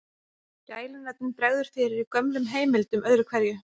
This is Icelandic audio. Gælunöfnum bregður fyrir í gömlum heimildum öðru hverju.